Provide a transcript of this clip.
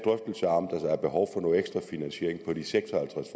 behov for ekstra finansiering af de seks og halvtreds